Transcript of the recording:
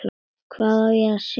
Hvað á ég að sjá?